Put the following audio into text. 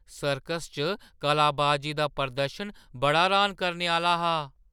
Circus च कलाबाजी दा प्रदर्शन बड़ा र्‌हान करने आह्‌ला हा!